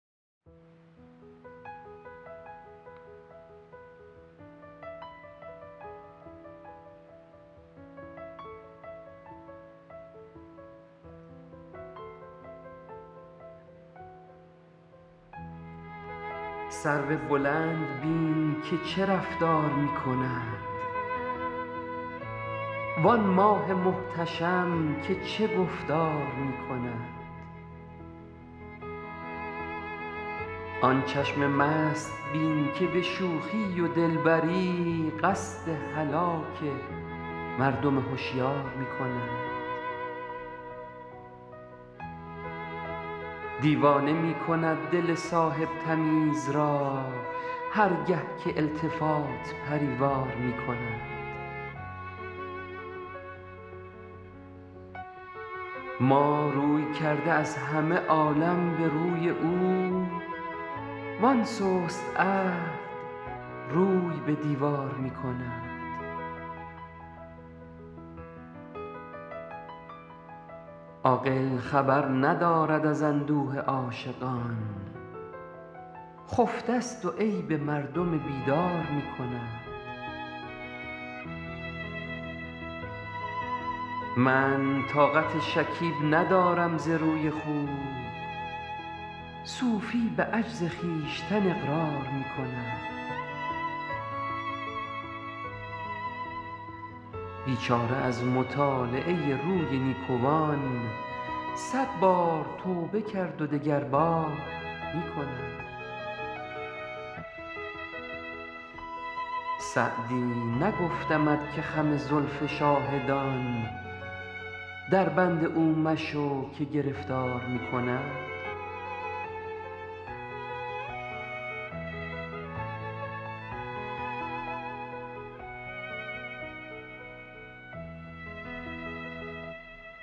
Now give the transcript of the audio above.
سرو بلند بین که چه رفتار می کند وآن ماه محتشم که چه گفتار می کند آن چشم مست بین که به شوخی و دلبری قصد هلاک مردم هشیار می کند دیوانه می کند دل صاحب تمیز را هر گه که التفات پری وار می کند ما روی کرده از همه عالم به روی او وآن سست عهد روی به دیوار می کند عاقل خبر ندارد از اندوه عاشقان خفته ست و عیب مردم بیدار می کند من طاقت شکیب ندارم ز روی خوب صوفی به عجز خویشتن اقرار می کند بیچاره از مطالعه روی نیکوان صد بار توبه کرد و دگربار می کند سعدی نگفتمت که خم زلف شاهدان دربند او مشو که گرفتار می کند